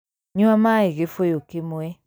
Nyua maĩ gĩbũyũ kĩmwe